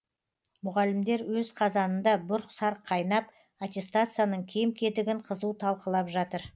мұғалімдер өз қазанында бұрқ сарқ қайнап аттестацияның кем кетігін қызу талқылап жатыр